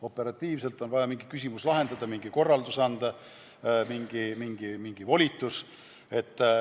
Operatiivselt on vaja mingi küsimus lahendada, mingi korraldus anda, mingi volitus.